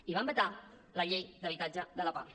i van vetar la llei d’habitatge de la pah